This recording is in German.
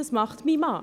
Dies tut mein Mann.